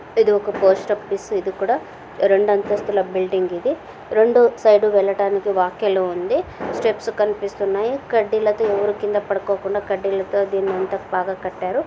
ఇది ఒక post office ఇదీ కూడా రెండు అంతస్తుల బిల్డింగ్ ఇది రెండు సైడ్ వెళ్ళటానికి వాక్ ఎలో ఉంది. స్టెప్స్ కనిపిస్తునాయి కడ్డిలతో ఎవరు కింద పడుకోకుండా కడ్డీలతో దీని అంత బాగా కట్ యారు.